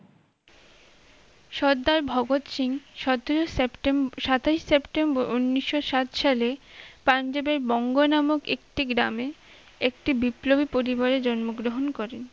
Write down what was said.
সর্দার ভগৎ সিং সতেরো সেপ্টেম্বর সাতই সেপ্টেম্বর ঊনিশোসাত সালে পাঞ্জাবের বঙ্গ নামক একটি গ্রামে একটি বিপ্লবী পরিবারে জন্মগ্রহণ করেন